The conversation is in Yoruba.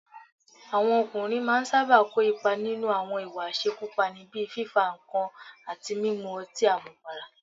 Àwọn ọkùnrin máa ń sábà kò ipa nínú àwọn ìwà àṣekúpani, bíi fífa nǹkan àti mímu ọtín àmupara